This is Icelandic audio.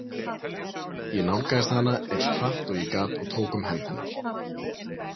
Ég nálgaðist hana eins hratt og ég gat og tók um hönd hennar.